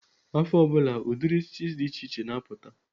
Afọ ọ bụla, ụdịrị isi dị iche iche na-apụta.